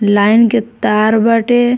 Line के तार बाटे।